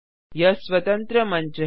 यह स्वतंत्र मंच है